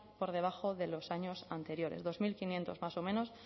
por debajo de los de años anteriores dos mil quinientos más o menos